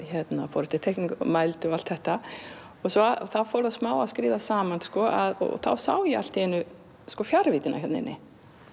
fór eftir teikningu mældi og allt þetta þá fór það smá að skríða saman og þá sá ég allt í einu fjarvíddina hérna inni